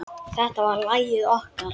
Þetta var lagið okkar.